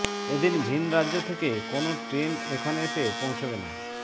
এদিন ভিন রাজ্য থেকে কোনও ট্রেন এখানে এসে পৌছবে না